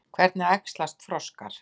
Hvernig æxlast froskar?